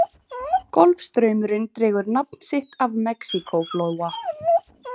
Golfstraumurinn dregur nafn sitt af Mexíkóflóa.